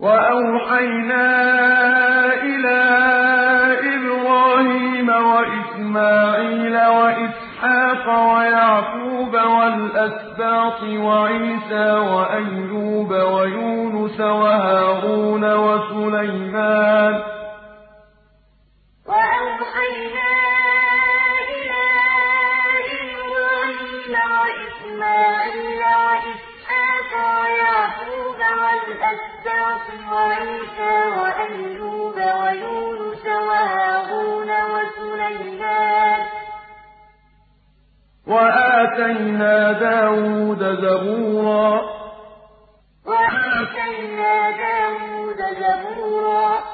وَأَوْحَيْنَا إِلَىٰ إِبْرَاهِيمَ وَإِسْمَاعِيلَ وَإِسْحَاقَ وَيَعْقُوبَ وَالْأَسْبَاطِ وَعِيسَىٰ وَأَيُّوبَ وَيُونُسَ وَهَارُونَ وَسُلَيْمَانَ ۚ وَآتَيْنَا دَاوُودَ زَبُورًا ۞ إِنَّا أَوْحَيْنَا إِلَيْكَ كَمَا أَوْحَيْنَا إِلَىٰ نُوحٍ وَالنَّبِيِّينَ مِن بَعْدِهِ ۚ وَأَوْحَيْنَا إِلَىٰ إِبْرَاهِيمَ وَإِسْمَاعِيلَ وَإِسْحَاقَ وَيَعْقُوبَ وَالْأَسْبَاطِ وَعِيسَىٰ وَأَيُّوبَ وَيُونُسَ وَهَارُونَ وَسُلَيْمَانَ ۚ وَآتَيْنَا دَاوُودَ زَبُورًا